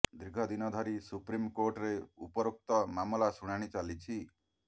ଦୀର୍ଘ ଦିନ ଧରି ସୁପ୍ରିମ କୋର୍ଟରେ ଉପରୋକ୍ତ ମାମଲାର ଶୁଣାଣି ଚାଲିଛି